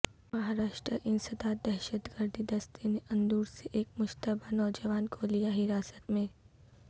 مہاراشٹر انسداد دہشت گردی دستہ نے اندور سے ایک مشتبہ نوجوان کو لیا حراست میں